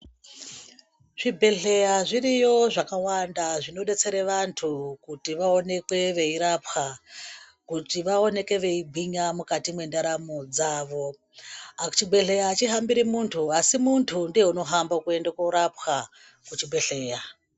Zvibhedhleya zviriyo zvakawanda zvinodetsere vantu kuti vaonekwe veirapwa kuti vaoneke veigwinya mukati mwendaramo dzavo. Chibhedhleya hachihambiri muntu asi muntu ndiye unohamba kuende korapwa kuchibhedhleya.